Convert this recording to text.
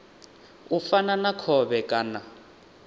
u fana na khovhe kana